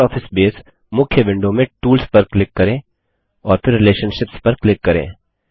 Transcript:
LibreOffice Base मुख्य window में tools पर क्लिक करें और फिर रिलेशनशिप्स पर क्लिक करें